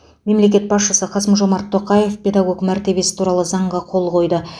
мемлекет басшысы қасым жомарт тоқаев педагог мәртебесі туралы заңға қол қойды